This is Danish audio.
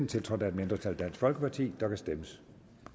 tiltrådt af et mindretal der kan stemmes